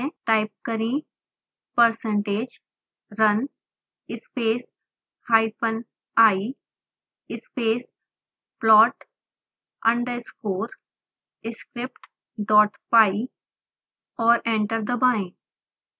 type करें percentage run space hyphen i space plot underscore scriptpy और enter दबाएं